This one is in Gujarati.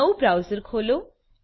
નવું બ્રાઉઝર ખોલો